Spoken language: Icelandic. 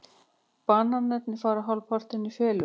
Bananarnir fara hálfpartinn í felur.